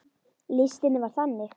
Listinn var þannig